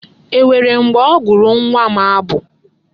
E nwere mgbe ọ gụụrụ nwa m abụ?